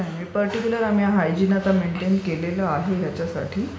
नाही. पर्टीक्युलर आम्ही आता हायजिन मेंटेन केलेलं आहे यश्च्यसाठी.